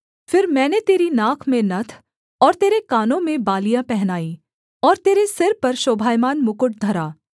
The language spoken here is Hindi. फिर मैंने तेरी नाक में नत्थ और तेरे कानों में बालियाँ पहनाई और तेरे सिर पर शोभायमान मुकुट धरा